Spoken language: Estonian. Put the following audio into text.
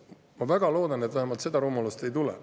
Ma väga loodan, et vähemalt seda rumalust ei tule.